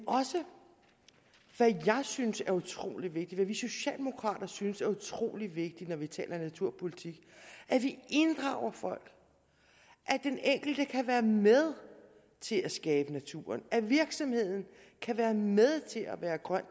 også hvad jeg synes er utrolig vigtigt og hvad vi socialdemokrater synes er utrolig vigtigt når vi taler naturpolitik at vi inddrager folk at den enkelte kan være med til at skabe naturen at virksomheden kan være med til at være grøn